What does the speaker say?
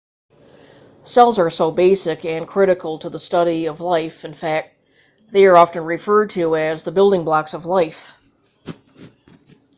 cells are so basic and critical to the study of life in fact that they are often referred to as the building blocks of life